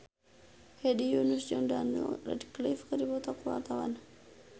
Hedi Yunus jeung Daniel Radcliffe keur dipoto ku wartawan